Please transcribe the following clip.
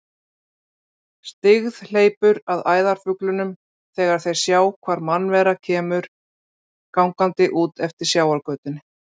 Styggð hleypur að æðarfuglunum þegar þeir sjá hvar mannvera kemur gangandi út eftir sjávargötunni.